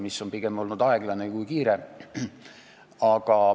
Pigem on see olnud aeglane kui kiire.